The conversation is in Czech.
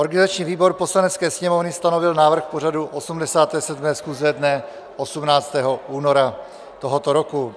Organizační výbor Poslanecké sněmovny stanovil návrh pořadu 87. schůze dne 18. února tohoto roku.